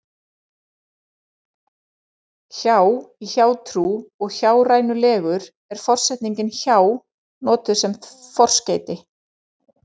Hjá- í hjátrú og hjárænulegur er forsetningin hjá notuð sem forskeyti.